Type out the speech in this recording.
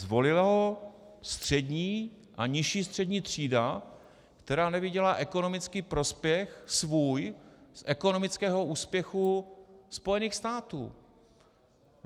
Zvolila ho střední a nižší střední třída, která neviděla ekonomický prospěch svůj z ekonomického úspěchu Spojených států.